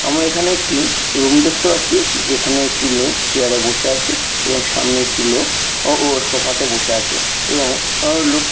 আমরা এখানে একটি রুম দেখতে পাচ্ছি যেখানে একটি লোক চেয়ারে বসে আছে এবং সামনে একটি লোক ও ও সোফা তে বসে আছে এবং ও লোক --